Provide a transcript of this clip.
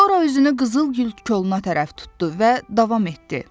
Sonra üzünü qızıl gül koluna tərəf tutdu və davam etdi: